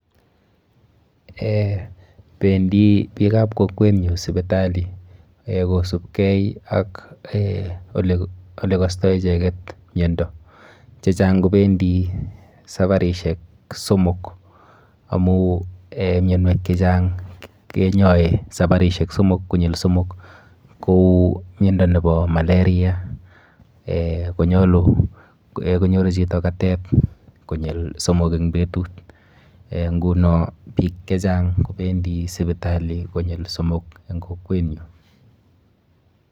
Eh pendi biikap kokwenyu sipitali eh kosubkei ak eh olekostoi icheket miendo. Chechang kopendi saparishek somok amu eh mionwek chechang kenyoi saparishek somok konyil somok kou miendo nepo malaria eh konyoru chito katet konyil somok eng petut eh nguno biik chechang kopendi sipitali konyil somok eng kokwenyo.